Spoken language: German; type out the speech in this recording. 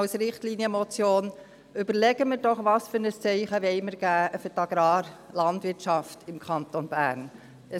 Überlegen wir uns doch, welches Zeichen wir für die Agrarwirtschaft im Kanton Bern setzen wollen.